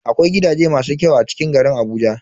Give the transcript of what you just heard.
Akwai gidaje masu kyau a cikin garin Abuja.